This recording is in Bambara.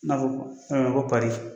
N'a' ko ko fɛn ko